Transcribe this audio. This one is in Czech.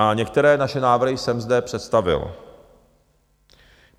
A některé naše návrhy jsem zde představil.